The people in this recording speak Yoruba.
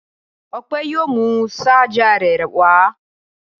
Ọpẹ yóò mú ṣajà rẹ̀ wá.